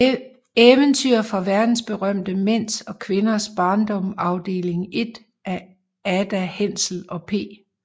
Eventyr fra verdensberømte Mænds og Kvinders Barndom Afdeling 1 af Ada Hensel og P